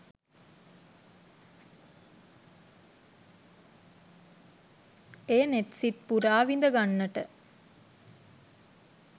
එය නෙත් සිත් පුරා විඳගන්නට